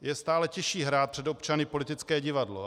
Je stále těžší hrát před občany politické divadlo.